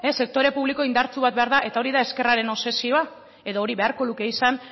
sektore publiko indartsu bat behar da eta hori da ezkerraren obsesioa edo hori beharko luke izan